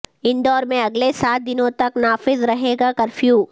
اندور میں اگلے سات دنوں تک نافذ رہے گا کرفیو